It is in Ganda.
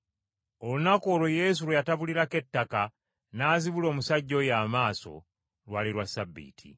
Olunaku olwo Yesu lwe yatabulirako ettaka n’azibula omusajja oyo amaaso, lwali lwa Ssabbiiti.